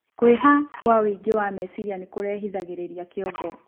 Kwiha gwa wuinge wa mecirĩa nikurehithagirirĩa kĩongo